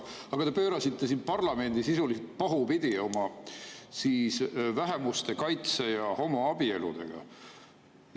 Aga te pöörasite siin parlamendi sisuliselt pahupidi oma vähemuste kaitse ja homoabieludega.